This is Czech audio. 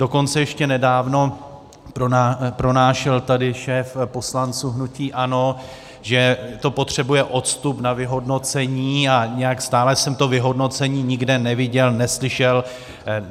Dokonce ještě nedávno pronášel tady šéf poslanců hnutí ANO, že to potřebuje odstup na vyhodnocení, a nějak stále jsem to vyhodnocení nikde neviděl, neslyšel.